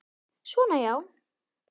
Svona, já.